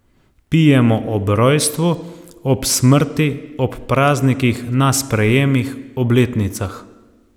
Pijemo ob rojstvu, ob smrti, ob praznikih, na sprejemih, obletnicah.